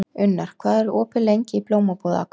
Unnar, hvað er opið lengi í Blómabúð Akureyrar?